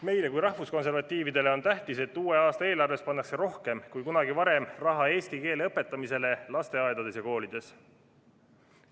Meile kui rahvuskonservatiividele on tähtis, et uue aasta eelarves pannakse rohkem kui kunagi varem raha eesti keele õpetamisele lasteaedades ja koolides.